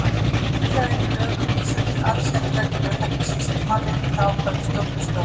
Víða er í lögum vísað til allsherjarreglu, ekki síst í mannréttindaákvæðum stjórnarskrárinnar.